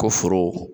Ko foro